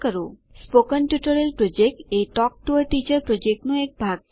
spoken tutorial project એ talk to a teacher પ્રોજેક્ટનો એક ભાગ છે